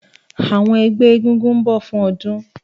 Àwọn ẹgbẹ́ egúngún ń bọ̀ fún ọdún